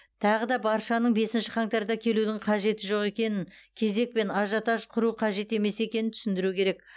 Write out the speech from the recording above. тағы да баршаның бесінші қаңтарда келудің қажеті жоқ екенін кезек пен ажиотаж құру қажет емес екенін түсіндіру керек